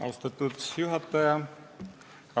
Austatud juhataja!